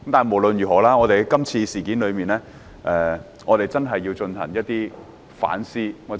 無論如何，就今次事件，我們真的要進行反思。